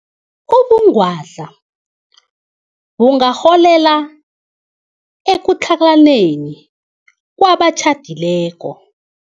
Ubungwadla bungarholela ekutlhalaneni kwabatjhadileko.